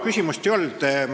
Küsimust ei olnud.